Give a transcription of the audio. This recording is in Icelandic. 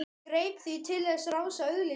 Ég greip því til þess ráðs að auglýsa í